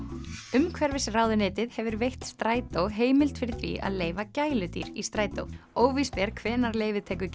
umhverfisráðuneytið hefur veitt Strætó heimild fyrir því að leyfa gæludýr í strætó óvíst er hvenær leyfið tekur